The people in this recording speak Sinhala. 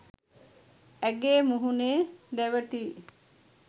ඇගේ මුහුණේ දැවටී